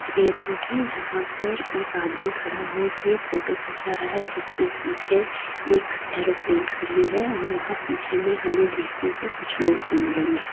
एक एयरपोर्ट है जहां पर एक आदमी खड़ा हो के फोटो खींचा रहा है जिसके पीछे एक एयरोप्लेन खड़ी है और वहां पीछे में हमे देखने को कुछ लोग भी मिलेंगे।